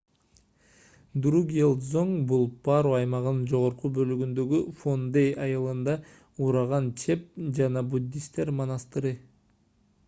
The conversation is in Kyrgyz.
другьел-дзонг бул паро аймагынын жогорку бөлүгүндөгү фондей айылында ураган чеп жана буддисттер монастыры